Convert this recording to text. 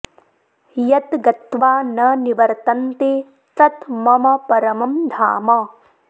यत् गत्वा न निवर्तन्ते तत् मम परमम् धाम